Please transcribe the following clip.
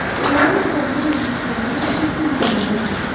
Əmrayin arvadını evliliklərinin ilk günlərindən sevirdi.